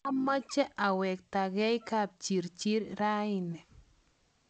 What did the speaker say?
mameche awektegei Kapchirchir raini